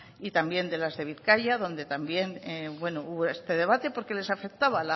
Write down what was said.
y también de las de bizkaia donde también bueno hubo este debate porque les afectaba